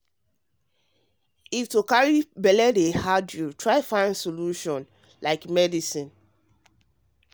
to dey find solution to try get belle need medicine if person dey go through hard time to carry belle